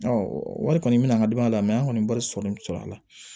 wari kɔni min an ka danaya mɛ an kɔni wari sɔrɔli sɔrɔla